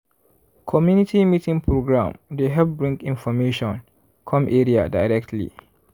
community meeting program dey help bring information come area directly.